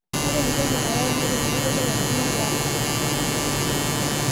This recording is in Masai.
Ore entoki nayau neton meyioloi ashu meibala.